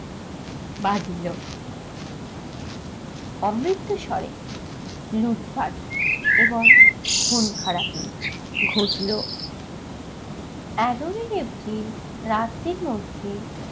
বাঁধিল। অমৃতস্বরে লুটপাট এবং খুনখারাপি ঘটল। এগারোই april রাতের মধ্যে